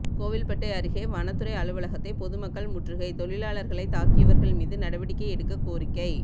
கோவில்பட்டி அருகே வனத்துறை அலுவலகத்தை பொதுமக்கள் முற்றுகை தொழிலாளர்களை தாக்கியவர்கள் மீது நடவடிக்கை எடுக்க கோரிக்கை